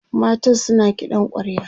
matan suna kiɗan kwarya